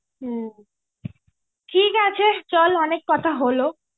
হম, ঠিক আছে চল. অনেক কথা হলো.